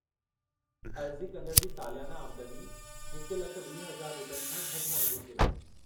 अर्ज़ी कंदड़ जी सालियाना आमदनी 1,20,000 रुपयनि खां घटि हुअणु घुरिजे।